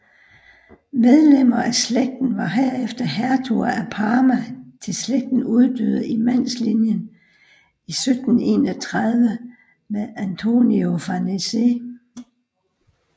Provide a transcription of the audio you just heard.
Medlemmer af slægten var herefter hertuger af Parma til slægten uddøde i mandslinjen i 1731 med Antonio Farnese